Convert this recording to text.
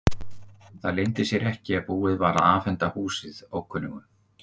Það leyndi sér ekki að búið var að afhenda húsið ókunnugum.